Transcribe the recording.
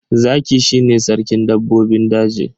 Zaki shi ne sarkin dabbobin daji.